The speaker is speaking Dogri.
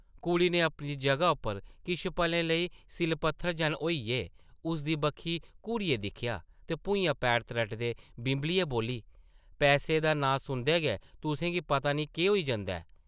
कुड़ी नै अपनी जगह उप्पर किश पलें लेई सिʼल-पत्थर जन होइयै उसदी बक्खी घूरियै दिक्खेआ ते भुञा पैर त्रटदे बिंबलियै बोल्ली, पैसें दा नांऽ सुनदे गै तुसें गी पता नेईं केह् होई जंदा ऐ ।